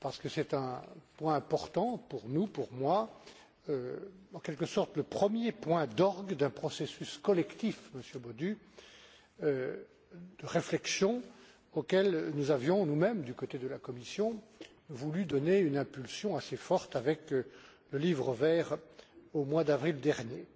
C'est un point important pour nous et pour moi, en quelque sorte, le premier point d'orgue d'un processus collectif Monsieur Bodu de réflexion auquel nous avions nous mêmes, de la part de la Commission, voulu donner une impulsion forte avec le Livre vert au mois d'avril dernier.